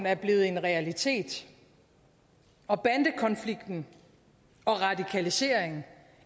er blevet en realitet og bandekonflikt og radikalisering